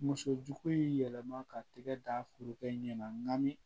Muso jugu in yɛlɛma ka tɛgɛ da furukɛ ɲɛnami